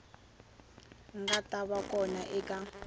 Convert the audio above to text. nga ta va kona eka